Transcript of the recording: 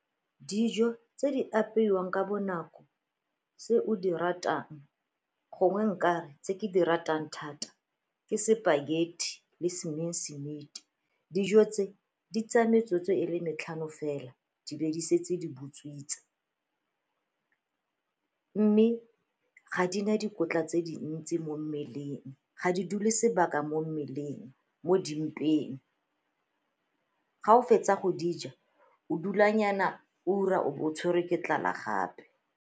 Dijo tse di apeiwang ka bonako tse o di ratang gongwe nka, tse ke di ratang thata ke spaghetti le mince meat-i. Dijo tse di tseya metsotso e le metlhano fela di be di setse di butswitse mme ga di na le dikotla tse dintsi mo mmeleng, ga di dule sebaka mo mmeleng, mo dimpeng. Ga o fetsa go di ja o dulanyana ura o bo o tshwere ke tlala gape.